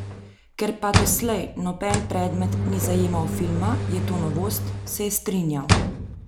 Ker pa doslej noben predmet ni zajemal filma, je to novost, se je strinjal.